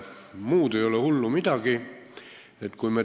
Muud ei ole hullu midagi.